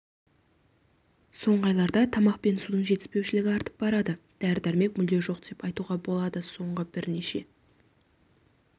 соңғы айларда тамақ пен судың жетіспеушілігі артып барады дәрі-дәрмек мүлде жоқ деп айтуға болады соңғы бірнеше